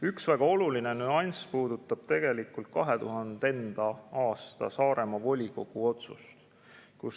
Üks väga oluline nüanss puudutab tegelikult 2000. aastal tehtud Saaremaa volikogu otsust.